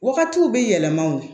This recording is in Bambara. Wagatiw bɛ yɛlɛma o